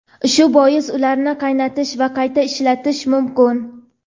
Shu bois ularni qaynatish va qayta ishlatish mumkin.